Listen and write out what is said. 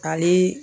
Hali